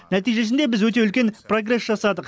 нәтижесінде біз өте үлкен прогресс жасадық